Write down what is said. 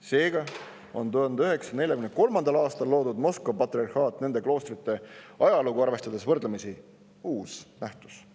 Seega on 1943. aastal loodud Moskva patriarhaat nende kloostrite ajalugu arvestades võrdlemisi uus nähtus.